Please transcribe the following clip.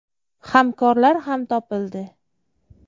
Hamkorlar ham topildi.